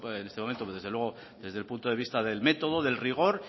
en este momento desde luego desde el punto de vista del método del rigor